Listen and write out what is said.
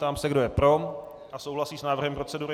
Ptám se, kdo je pro a souhlasí s návrhem procedury.